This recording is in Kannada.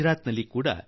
ಗುಜರಾತಿನಲ್ಲೂ ಕ